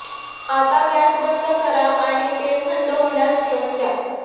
आता गॅस बंद करा आणि तेल थंड होण्यास ठेवून द्या